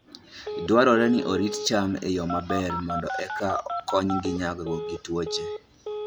Dwarore ni orit cham e yo maber mondo eka okonygi nyagruok gi tuoche.